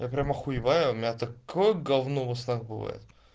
я прям охуеваю у меня такое говно во снах бывает